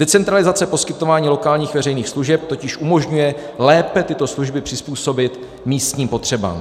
- Decentralizace poskytování lokálních veřejných služeb totiž umožňuje lépe tyto služby přizpůsobit místním potřebám.